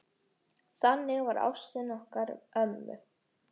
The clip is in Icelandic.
Þannig var ástin okkar ömmu.